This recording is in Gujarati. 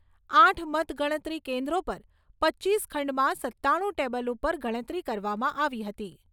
આઠ મતગણતરી કેન્દ્રો પર પચીસ ખંડમાં સત્તાણું ટેબલ ઉપર ગણતરી કરવામાં આવી હતી.